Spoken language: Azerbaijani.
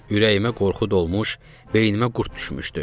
Ürəyimə qorxu dolmuş, beynimə qurd düşmüşdü.